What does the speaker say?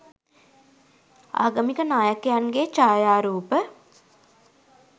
ආගමික නායකයන්ගේ ඡායාරූප